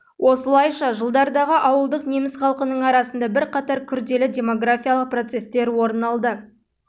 осылайша жылдардағы ауылдық неміс халқының арасында бірқатар күрделі демографиялық процесстер орын алды